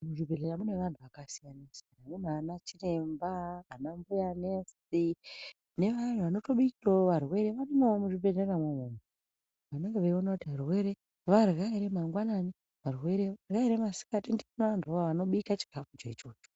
Muzvibhedhera mune vantu vakasiyana-siyana. Munana chiremba, ana mbuya nurse, nevayani vanotobikirawo varwere varimowo muzvibhedhera mwo umwomwo, vanenge veiona kuti varwere varya ere mangwanani, varwere varya ere masikati, varimo vantu vo avavo vanobika chikafu cho ichocho.